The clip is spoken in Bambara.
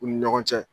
U ni ɲɔgɔn cɛ